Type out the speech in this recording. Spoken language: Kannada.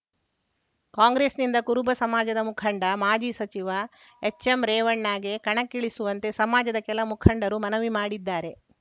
ಕಾಂಗ್ರೆಸ್ಸಿನಿಂದ ಕುರುಬ ಸಮಾಜದ ಮುಖಂಡ ಮಾಜಿ ಸಚಿವ ಎಚ್‌ಎಂರೇವಣ್ಣಗೆ ಕಣಕ್ಕಿಳಿಸುವಂತೆ ಸಮಾಜದ ಕೆಲ ಮುಖಂಡರು ಮನವಿ ಮಾಡಿದ್ದಾರೆ